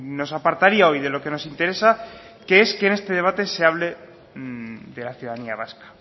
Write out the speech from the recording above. nos apartaría hoy de lo que nos interesa que es que en este debate se hable de la ciudadanía vasca